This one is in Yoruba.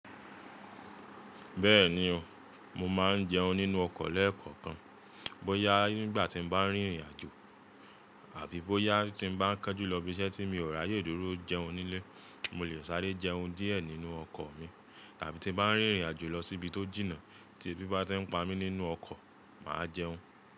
Bẹ́ẹ̀ni o, mo máa ń jẹun nínú ọkọ̀ lẹ́ẹ̀kọ̀kan bóyá nígbà tí n bá rìnrìn àjò àbí bóyá tí n bá ń ka ju lọ ibiṣẹ́ tí mi ò ráyè dúró jẹun nílé, mo lè sáré jẹun díẹ̀ nínú ọkọ̀ mi tàbí tí n bá ń rìnrìn àjò lọ síbi tó jìnnà tí ebi bá ti ń pa mí nínú ọkọ̀, màá jẹun.